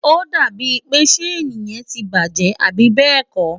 ó dàbí ń pé ṣéèni yẹn ti bàjẹ́, àbí bẹ́ẹ̀ kọ́?